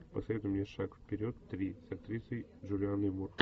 посоветуй мне шаг вперед три с актрисой джулианной мур